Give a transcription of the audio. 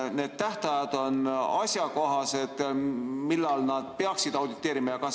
Kas need tähtajad on asjakohased, millal nad peaksid auditeerima?